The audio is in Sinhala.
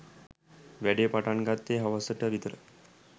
වැඩේ පටන් ගත්තෙ හවස ට විතර.